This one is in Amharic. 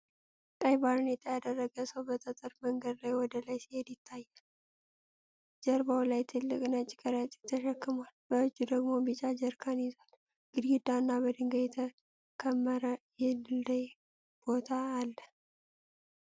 ቀይ ባርኔጣ የደረገ ሰው በጠጠር መንገድ ላይ ወደ ላይ ሲሄድ ይታያል። ጀርባው ላይ ትልቅ ነጭ ከረጢት ተሸክሟል፤ በእጁ ደግሞ ቢጫ ጀሪካን ይዟል። ግድግዳ እና በድንጋይ የተከመረ የደልዳላ ቦታ አለ።